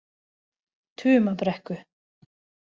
Tumabrekku